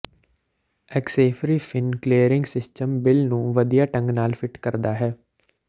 ਐਕਸੇਫ੍ਰੀ fin clearing system bill ਨੂੰ ਵਧੀਆ ਢੰਗ ਨਾਲ ਫਿੱਟ ਕਰਦਾ ਹੈ